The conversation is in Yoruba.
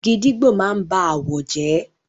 Gidígbò máa n ba àwọ̀ jẹ́.